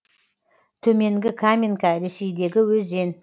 төменгі каменка ресейдегі өзен